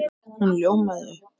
Hún ljómaði upp!